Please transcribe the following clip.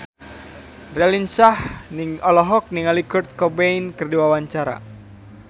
Raline Shah olohok ningali Kurt Cobain keur diwawancara